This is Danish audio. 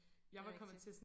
Det rigtigt